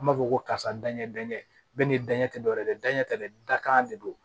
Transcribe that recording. An b'a fɔ ko karisa daɲɛdɛkɛ bɛɛ ni danɲɛ tɛ dɔwɛrɛ ye dɛ dajɛ tɛ dɛ dakan de don